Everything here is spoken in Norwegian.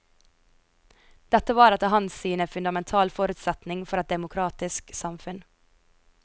Dette var etter hans syn en fundamental forutsetning for et demokratisk samfunn.